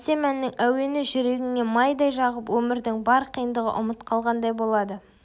әсем әннің әуені жүрегіне майдай жағып өмірдің бар қиындығы ұмыт қалғандай болады